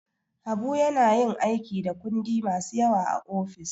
Habu na yin aiki da kundi masu yawa a ofis.